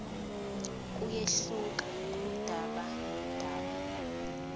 kuyehluka kudaba nodaba